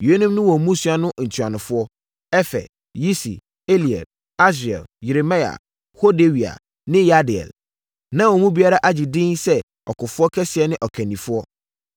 Yeinom ne wɔn mmusua no ntuanofoɔ: Efer, Yisi, Eliel, Asriel, Yeremia, Hodawia ne Yahdiel. Na wɔn mu biara agye edin sɛ ɔkofoɔ kɛseɛ ne ɔkandifoɔ.